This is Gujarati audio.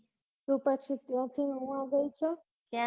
તું કશું ગયી છે